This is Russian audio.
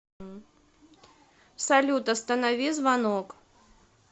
салют останови звонок